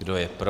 Kdo je pro?